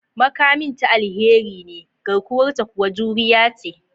Makamin ta alheri ne, garkuwarta kuwa juriya ce.